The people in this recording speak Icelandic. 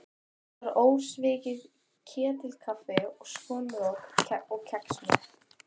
Þetta var ósvikið ketilkaffi og skonrok og kex með.